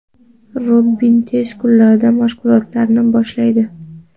Robin tez kunlarda mashg‘ulotlarni boshlaydi.